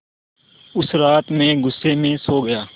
उस रात मैं ग़ुस्से में सो गया